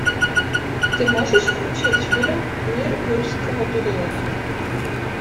ты можешь включить фильм мир юрского периода